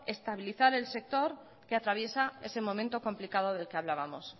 estabilizar el sector que atraviesa ese momento complicado del que hablábamos